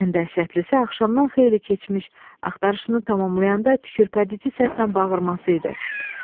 Ən dəhşətlisi axşamdan xeyli keçmiş axtarışını tamamlayanda tükürpədic səslə bağırması idi.